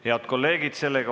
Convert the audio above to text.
Head kolleegid!